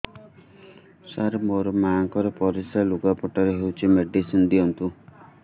ସାର ମୋର ମାଆଙ୍କର ପରିସ୍ରା ଲୁଗାପଟା ରେ ହଉଚି ମେଡିସିନ ଦିଅନ୍ତୁ